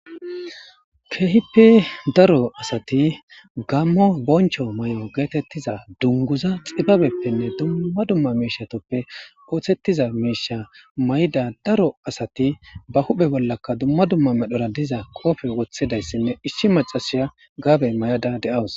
Keehippi daro asati gammo boncho may'o geetettiza dunguza xibabeppenne dumma dumma miishatoppe ooththettiza miisha may'da daro asati ba huphe bollaka dumma dumma medhora diza koofe wothidayssinne isshi macasiya gaabe may'ada de'awus.